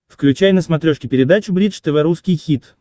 включай на смотрешке передачу бридж тв русский хит